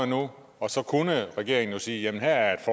nu og så kunne regeringen jo sige jamen her er